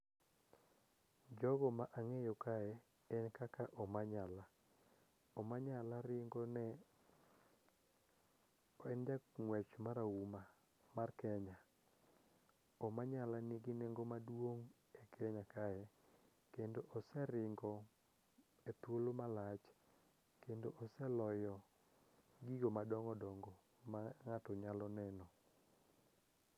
Jogo ma ang'eyo kae en kaka Omanyala. Omanyala en jang'wech marahuma mar Kenya. Omanyala nigi nengo maduong' e Kenya kae kendo oseringo e thuolo malach kendo oseloyo gigo madongodongo ma ng'ato nyalo neno.